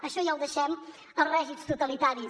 això ja ho deixem als règims totalitaris